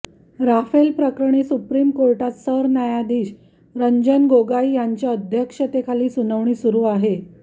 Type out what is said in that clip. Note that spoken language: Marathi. राफेलप्रकरणी सुप्रीम कोर्टात सरन्यायाधीश रंजन गोगोई यांच्या अध्यक्षतेखाली सुनावणी सुरू आहे